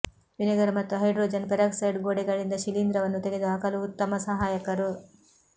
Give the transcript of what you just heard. vinegar ಮತ್ತು hydrogen peroxide ಗೋಡೆಗಳಿಂದ ಶಿಲೀಂಧ್ರವನ್ನು ತೆಗೆದುಹಾಕಲು ಉತ್ತಮ ಸಹಾಯಕರು